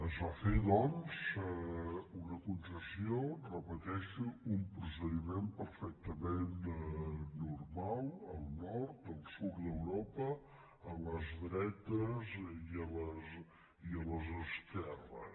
es va fer doncs una concessió ho repeteixo un pro·cediment perfectament normal al nord al sud d’euro·pa a les dretes i a les esquerres